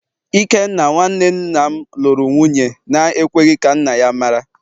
Ikenna, nwa nwanne nna m luru nwunye na-ekweghi ka nna ya mara